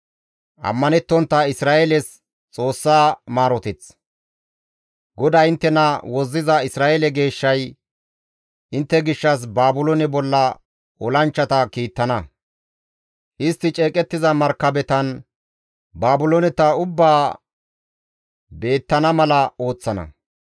GODAY inttena wozziza Isra7eele Geeshshay, «Intte gishshas Baabiloone bolla olanchchata kiittana; istti ceeqettiza markabetan, Baabilooneta ubbaa beettana mala ooththana.